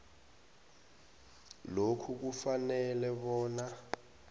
lokhu kufanele bona